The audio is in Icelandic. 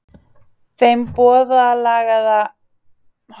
Þeim borðalagða var litið út um hliðarrúðu.